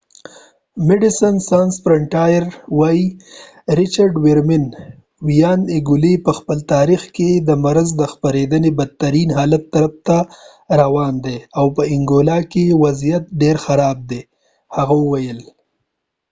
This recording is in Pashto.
د medecines sans frontiere ویاند richard veerman وایی انګولا په خپل تاریخ کې د مرض د خپریدنې بدترین حالت طرف ته روان دی او په انګولا کې وضعیت ډیر خراب دی هغه وویل